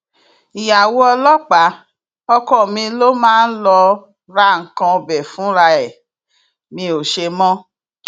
ìyàwó ọlọpàá ọkọ mi ló máa ń lọo ra nǹkan ọbẹ fúnra ẹ mi ò ṣe mọ